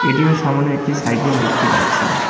ATM -এর সামোনে একটি সাইকেল দেখতে পারছি।